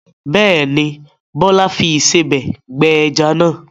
Bẹ́ẹ̀ ni, Bọ́lá fi ìsebẹ̀ gbẹ ẹja náà.